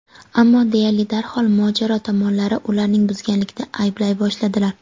ammo deyarli darhol mojaro tomonlari ularni buzganlikda ayblay boshladilar.